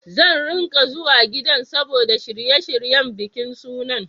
Zan ringa zuwa gidan saboda shirye-shiryen bikin sunan.